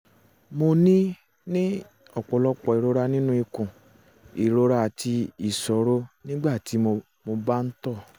um mo ní ní ọ̀pọ̀lọpọ̀ ìrora nínú ikùn um ìrora àti ìṣòro nígbà tí mo bá ń um tọ̀